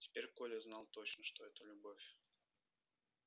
теперь коля знал точно что это любовь